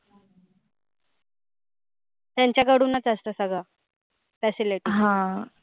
त्यांच्या कडूनच असतं सगळ. facility. हा